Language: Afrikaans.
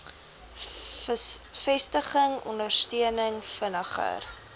vestiging ondersteuning vinniger